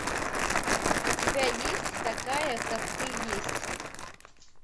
у тебя есть такая как ты есть